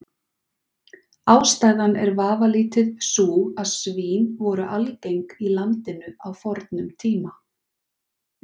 Ástæðan er vafalítið sú að svín voru algeng í landinu á fornum tíma.